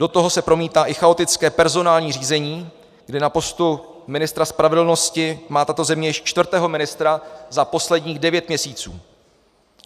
Do toho se promítá i chaotické personální řízení, kde na postu ministra spravedlnosti má tato země již čtvrtého ministra za posledních devět měsíců.